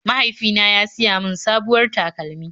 Mahaifina ya siya mun sabuwar takalmi.